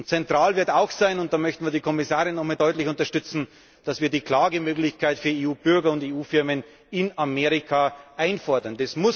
Zentral wird auch sein da möchten wir die Kommissarin noch einmal deutlich unterstützen dass wir die Klagemöglichkeit für EU Bürger und EU Firmen in Amerika einfordern.